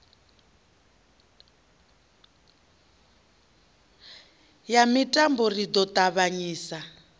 ya mitambo ri ḓo ṱavhanyisa